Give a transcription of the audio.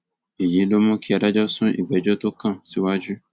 èyí ló mú kí adájọ sún ìgbẹjọ tó kàn síwájú